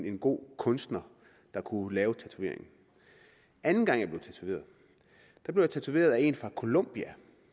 en god kunstner der kunne lave tatoveringen anden gang blev jeg tatoveret af en fra colombia